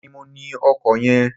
Èmi ní mo ní ọkọ yen